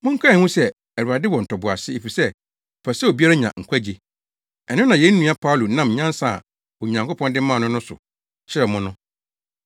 Monkae nhu sɛ Awurade wɔ ntoboase efisɛ ɔpɛ sɛ obiara nya nkwagye. Ɛno na yɛn nua Paulo nam nyansa a Onyankopɔn de maa no no so kyerɛw mo no.